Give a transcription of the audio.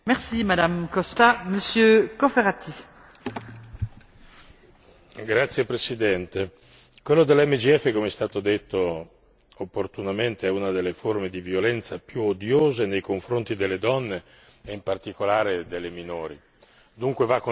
Signora Presidente, onorevoli colleghi, quella delle MGF, come è stato detto opportunamente, è una delle forme di violenza più odiose nei confronti delle donne e in particolare delle minori, dunque va contrastata con tutti gli strumenti a disposizione.